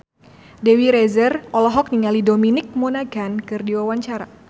Dewi Rezer olohok ningali Dominic Monaghan keur diwawancara